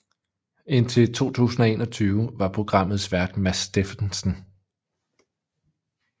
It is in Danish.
Indtil 2021 var programmets vært Mads Steffensen